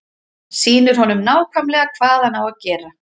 Sýnir honum nákvæmlega hvað hann á að gera.